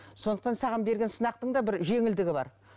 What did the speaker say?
сондықтан саған берген сынақтың да бір жеңілдігі бар